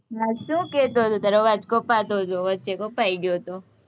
હા, શું કહેતો હતો? તારો અવાજ કપાતો હતો, વચ્ચે કપાઈ ગયો હતો.